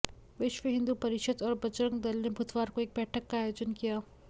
विश्व हिन्दू परिषद और बजरंग दल ने बुधवार को एक बैठक का आयोजन किया